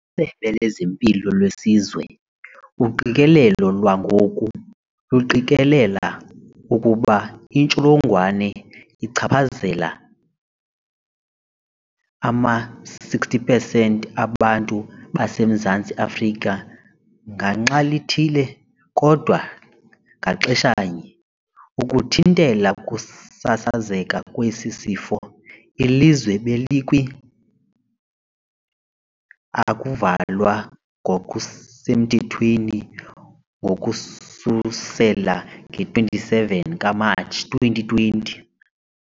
Ngokwesebe lezeMpilo leSizwe, "uqikelelo lwangoku luqikelela ukuba intsholongwane ichaphazela ama-60 pesenti abantu baseMzantsi Afrika ngaxa lithile, kodwa ngaxeshanye". Ukuthintela ukusasazeka kwesi sifo, ilizwe belikwi ukuvalwa ngokusemthethweni ngokususela nge-27 Matshi 2020.